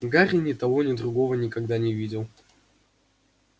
гарри ни того ни другого никогда не видел